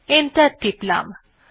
enter টিপলাম